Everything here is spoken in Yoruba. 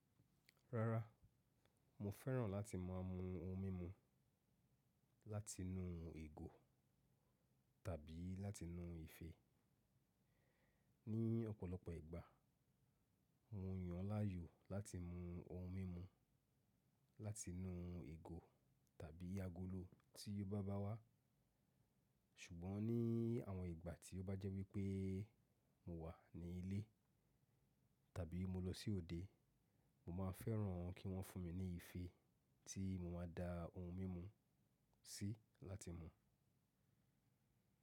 Rárá, mo fẹ́ràn láti má a mu ohun mímu láti inú igò tàbí láti inú ife. Ní ọ̀pọ̀lọpọ̀ ìgbà mo yàn láàyò láti mu ohun mímu láti inú igò tàbí agolo tí ó bá bá wá, ṣùgbọ́n ní àwọn ìgbà tí ó bá jẹ́ wípé mo wà ní ilé tàbí mo lọ sí òde, mo máa fẹ́ràn kí wọ́n fún mi ní ife tí mo máa da ohun mímu sí láti mu.